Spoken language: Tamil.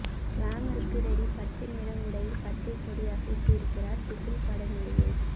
கிளாமருக்கு ரெடி பச்சைநிற உடையில் பச்சை கொடி அசைத்து இருக்கிறார் பிகில் பட நடிகை